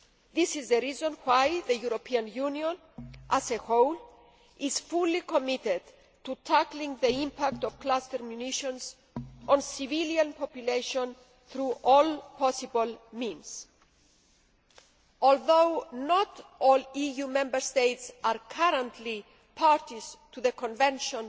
This is the reason why the European Union as a whole is fully committed to tackling the impact of cluster munitions on civilian populations through all possible means. Although not all EU Member States are currently parties to the Convention